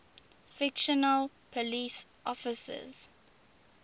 fictional police officers